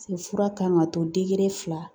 Paseke fura kan ka to degere fila